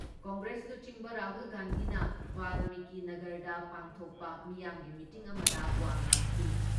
ꯀꯪꯒ꯭ꯔꯦꯁ ꯂꯨꯆꯤꯡꯕ ꯔꯥꯍꯨꯜ ꯒꯥꯟꯙꯤꯅ ꯕꯥꯜꯃꯤꯀꯤ ꯅꯥꯒꯔꯗ ꯄꯥꯡꯊꯣꯛꯄ ꯃꯤꯌꯥꯝꯒꯤ ꯃꯤꯇꯤꯟ ꯑꯃꯗ ꯋꯥ ꯉꯥꯡꯈꯤ ꯫